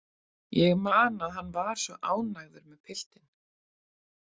Ég man að hann var svo ánægður með piltinn.